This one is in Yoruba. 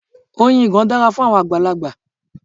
Oyin ìgàn dára fún àwọn àgbàlagbà.